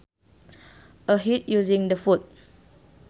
A hit using the foot